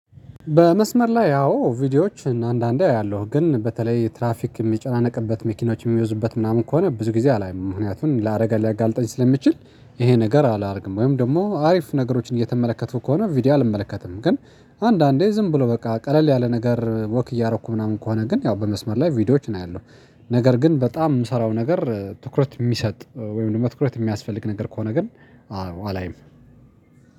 በመስመር ላይ ያው ቪዲዮዎች አንዳንዴ አያለሁ፤ ግን በተለይ ትራፊክ የሚጨናነቅበት፣ መኪኖች የሚበዙበት ምናምን ከሆነ ብዙ ጊዜ አላይም፤ ለአደጋ ሊያጋልጠን ስለሚችል ይሄን ነገር አላደርግም፤ ወይም ደግሞ አሪፍ ነገሮችን እየተመለከቱ ከሆነ ቪዲዮ አልመለከትም፤ ግን አንዳንዴ ዝም ብሎ በቃ ቀለል ያለ ነገር፣ እየተራመድኩ ምናምን ከሆነ ግን ያው በመስመር ላይ ቪዲዮዎችን አያለሁ፤ ነገር ግን በጣም የምሰራው ነገር ትኩረት የሚሰጥ ወይም ደግሞ ትኩረት የሚያስፈልገው ነገር ከሆነ ግን አዎ አላይም።